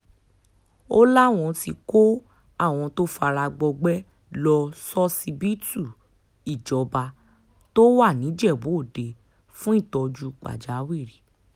ó láwọn ti kó àwọn tó fara gbọgbẹ́ lọ ṣọsibítù ìjọbàtọ́ wa nìjẹ̀bù òde fún ìtọ́jú pàjáwìrì